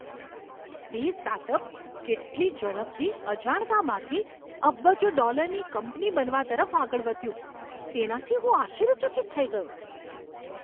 તે સ્ટાર્ટઅપ કેટલી ઝડપથી અજાણતામાંથી અબજો ડોલરની કંપની બનવા તરફ આગળ વધ્યું, તેનાથી હું આશ્ચર્યચકિત થઈ ગયો.